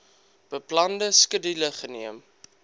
beplande skedule geneem